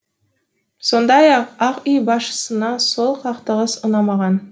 сондай ақ ақ үй басшысына сол қақтығыс ұнамаған